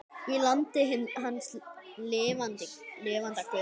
Í landi hins lifanda guðs.